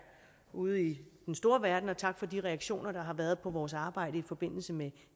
ude i den store verden og tak for de reaktioner der har været på vores arbejde i forbindelse med